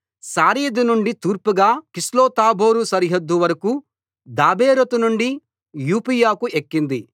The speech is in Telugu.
శారీదు నుండి తూర్పుగా కిస్లోత్తాబోరు సరిహద్దు వరకూ దాబెరతు నుండి యాఫీయకు ఎక్కింది